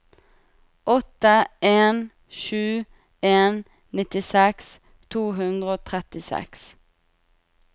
åtte en sju en nittiseks to hundre og trettiseks